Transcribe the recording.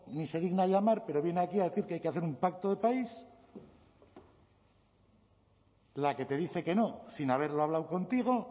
ni se digna a llamar pero viene aquí a decir que hay que hacer un pacto de país la que te dice que no sin haberlo hablado contigo